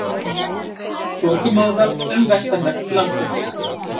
Þokumóða um vestanvert landið